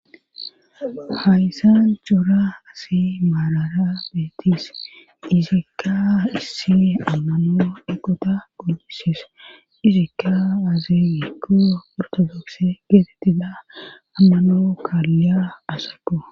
hayssa cora asi maarara beetis izaikka issi ammano eqota goyisis izikka azi ikko ortodokse geetettida ammano kaalleya asako